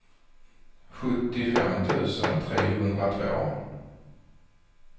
sjuttiofem tusen trehundratvå